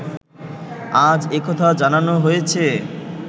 আজ একথা জানানো হয়েছে